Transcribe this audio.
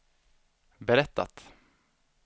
berättat